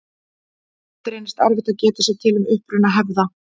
Oft reynist erfitt að geta sér til um uppruna hefða.